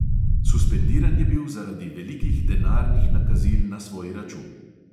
Suspendiran je bil zaradi velikih denarnih nakazil na svoj račun.